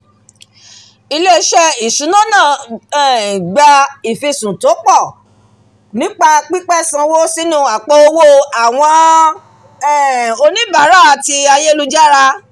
"ilé-isé ìṣúná náà gba um ìfisùn tó pọ̀ nípa pípẹ́ sanwó sínú àpò owó àwọn um oníbàárà ti ayélujára"